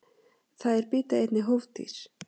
Þær bíta einnig hófdýr.